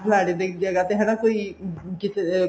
ਫਲਾਣੇ ਦੀ ਜਗ੍ਹਾ ਤੇ ਹਨਾ ਕੋਈ ਜਿੱਥੇ